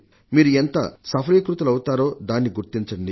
మీరు ఎంత సఫలీకృతులవుతారో దాన్ని గుర్తించండి